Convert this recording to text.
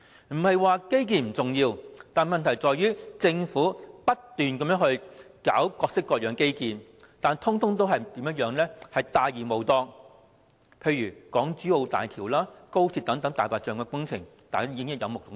不是說基建不重要，問題是政府不斷搞各式各樣的基建，但全部大而無當，例如港珠澳大橋及高鐵等"大白象"工程，大家已經有目共睹。